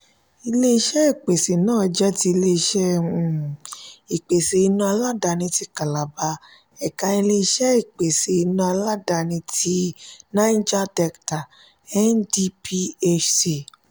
ilé-iṣé ìpèsè náà jẹ́ tí ilé-iṣẹ um ìpèsè iná aládàáni ti calabar ẹ̀ka ilé-iṣẹ ìpèsè iná aládàáni tí niger delta (ndphc)